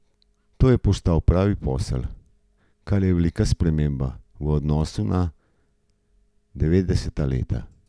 To je postal pravi posel, kar je velika sprememba v odnosu na devetdeseta leta.